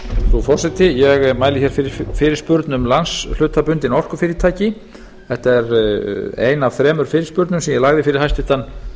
frú forseti ég mæli hér fyrir fyrirspurn um landshlutabundin orkufyrirtæki þetta er ein af þremur fyrirspurnum sem ég lagði fyrir hæstvirtur